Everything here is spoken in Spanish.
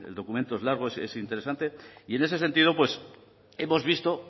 documento es largo es interesante y ese sentido hemos visto